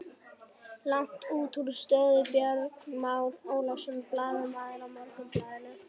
Langt útúr stöðu Björn Már Ólafsson, blaðamaður á Morgunblaðinu.